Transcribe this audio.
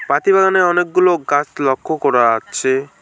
হাতিবাগানে অনেকগুলো গাছ লক্ষ করা যাচ্ছে।